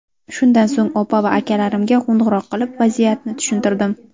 Shundan so‘ng opa va akalarimga qo‘ng‘iroq qilib, vaziyatni tushuntirdim.